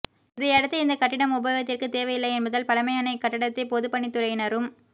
இதையடுத்து இந்த கட்டிடம் உபயோகத்திற்கு தேவை இல்லை என்பதால் பழமையான இக்கட்டடத்தை பொதுப்பணித் துறையினரும்